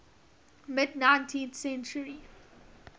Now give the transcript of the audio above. mid nineteenth century